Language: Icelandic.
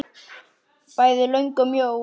Bæði löng og mjó.